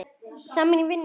Saman í vinnu og utan.